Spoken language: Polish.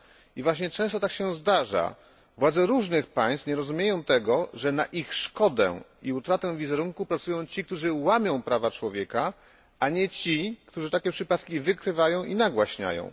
I właśnie często tak się zdarza władze różnych państw nie rozumieją tego, że na ich szkodę i utratę wizerunku pracują ci, którzy łamią prawa człowieka, a nie ci, którzy takie przypadki ujawniają i nagłaśniają.